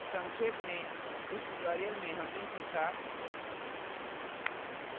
संक्षेप में इस tutorial में हमने सीखा